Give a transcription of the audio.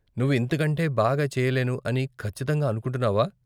నువ్వు ఇంతకంటే బాగా చెయ్యలేను అని ఖచ్చితంగా అనుకుంటున్నావా ?